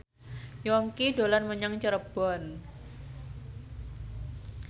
Yongki dolan menyang Cirebon